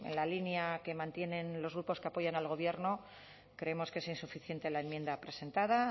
la línea que mantienen los grupos que apoyan al gobierno creemos que es insuficiente la enmienda presentada